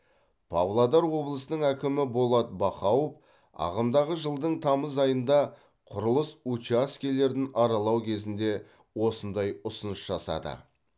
павлодар облысының әкімі болат бақауов ағымдағы жылдың тамыз айында құрылыс учаскелерін аралау кезінде осындай ұсыныс жасады